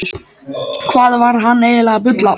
Hvað var hann eiginlega að bulla?